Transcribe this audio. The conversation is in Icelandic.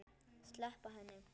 Sleppa henni.